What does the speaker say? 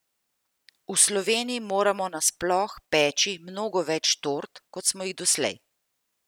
V Sloveniji moramo nasploh peči mnogo več tort, kot smo jih doslej!